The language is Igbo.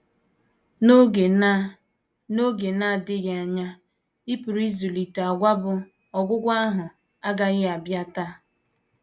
N’oge na N’oge na - adịghị anya, ị pụrụ ịzụlite àgwà bụ́: “ Ọgwụgwụ ahụ agaghị abịa taa. ”